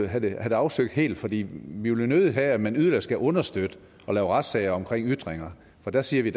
have det afsøgt helt for vi vil jo nødig have at man yderligere skal understøtte at lave retssager omkring ytringer for der siger vi